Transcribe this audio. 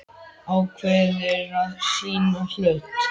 Ákveður að sýna hold.